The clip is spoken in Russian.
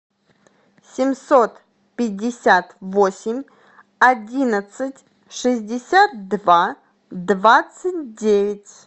семьсот пятьдесят восемь одиннадцать шестьдесят два двадцать девять